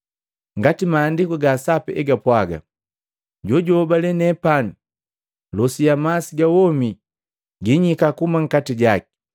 Ngati Maandiku ga Sapi egapwaga, ‘Jojunhobale nepani, losi ya masi ga womi ginyika kuhuma nkati jaki.’ ”